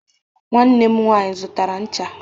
nwanne m nwanyi zụtara ncha